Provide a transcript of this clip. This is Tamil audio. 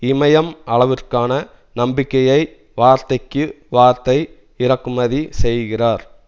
இமயம் அளவிற்கான நம்பிக்கையை வார்த்தைக்கு வார்த்தை இறக்குமதி செய்கிறார்